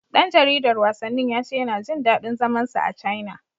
Ɗan jaridar wasannin ya ce yana jin daɗin zaman sa a Caina.